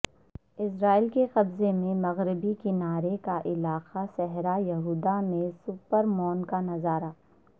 اسرائیل کے قبضے میں مغربی کنارے کا علاقہ صحرا یہودہ میں سپر مون کا نظارہ